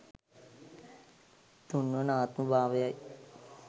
තුන්වන ආත්ම භාවයයි.